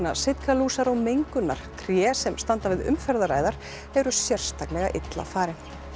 sitkalúsar og mengunar tré sem standa við umferðaræðar eru sérstaklega illa farin